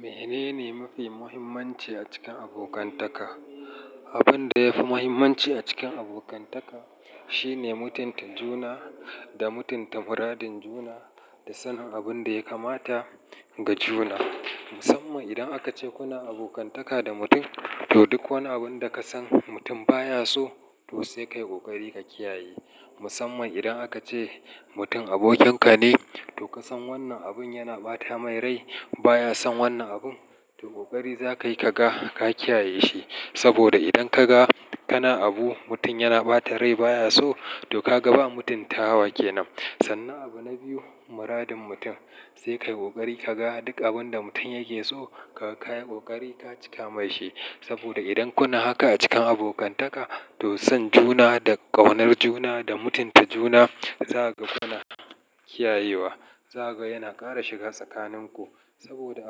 Menene mafi muhimmanci a cikin abokantaka? Abun da yafi mahimmanci a cikin abokantaka, shine mutunta juna, da mutunta muradin juna da sanin abun da ya kamata ga juna. Musamman idan aka ce kuna abokantaka da mutum, to duk wani abun da ka san mutum baya so, to sai ka yi ƙoƙari ka kiyaye. Musamman idan aka ce mutum abokinka ne, to ka san wannan abun yana ɓata mai rai, baya son wannan abun, to ƙoƙari za ka yi ka ga ka kiyaye shi. Saboda idan ka ga kana abu mutum yana ɓata rai baya so, to ka ga ba mutunta wa ke nan. Sannan abu na biyu, muradin mutum, sai ka yi ƙoƙari ka ga duk abun da mutum yake so, ka kayi ƙoƙari ka cika mai shi. Saboda idan kuna haka a cikin abokantaka, to son juna da ƙaunar juna da mutunta juna, za kaga kuna kiyayewa. Za ka ga yana ƙara shiga tsakanin ku. Saboda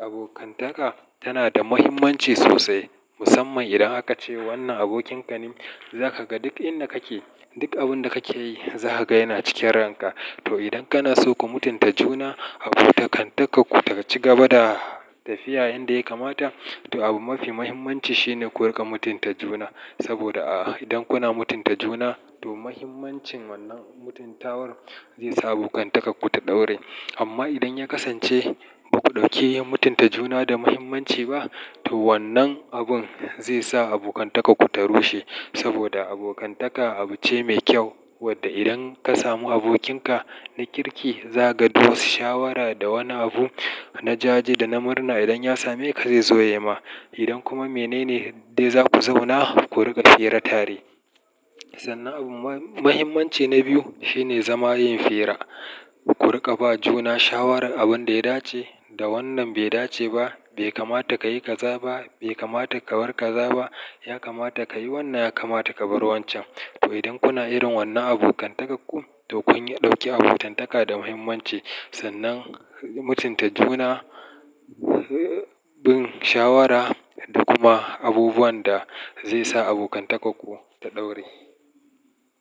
abokantaka, tana da mahimmanci sosai. Musamman idan aka ce wannan abokinka ne, za ka ga duk inda kake, duk abun da kake yi, za ka ga yana cikin ranka. To idan kana so ku mutunta juna, abokantaka ku ta ci gaba da tafiya yanda ya kamata, to abu mafi mahimmanci shine ku riƙa mutunta juna. Saboda a, idan kuna mutunta juna, to mahimmancin wannan mutuntawar, zai sa abokantakar ku ta ɗaure. Amma idan ya kasance, ba ku ɗauke mutunta juna da mahimmanci ba, to wannan abun zai sa abokantakan ku ta rushe. Saboda abokantaka abu ce mai kyau, wadda idan ka samu abokinka na kirki, za ka duk wasu shawara da wani abu, na jaje da na murna idan ya same ka zai zo ya ma. Idan kuma menene dai za ku zauna, ku riƙa fira tari. Sannan abu mahimmanci na biyu, shine zama yin fira. Ku riƙa ba juna shawarar abun da ya dace, da wannan bai dace ba. Bai kamata ka yi kaza ba, bai kamata ka bar kaza ba. Ya kamata ka yi wannan, ya kamata ka bar wancan. To idan kuna irin wannan abokantakan ku, to kun ɗauke abokantaka da mahimmanci. Sannan, mutunta juna, bin shawara da kuma abubuwan da zai sa abokantakar ku ta ɗaure.